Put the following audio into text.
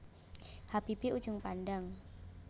Habibie Ujung Pandang